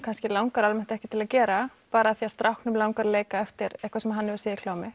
langar almennt ekki til að gera bara af því að stráknum langar að leika eftir eitthvað sem hann hefur séð í klámi